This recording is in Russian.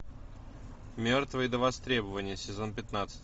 мертвые до востребования сезон пятнадцать